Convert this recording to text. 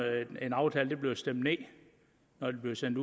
aftale bliver stemt ned når den bliver sendt